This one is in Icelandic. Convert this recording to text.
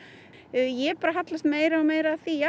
ég hallast meira og meira að því